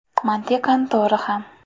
Mantiqan to‘g‘ri ham.